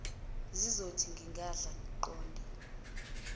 ngizothi ngingadla ngiqonde